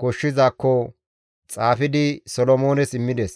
koshshizaakko xaafidi Solomoones immides.